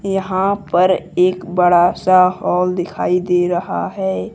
यहां पर एक बड़ा सा हॉल दिखाई दे रहा है।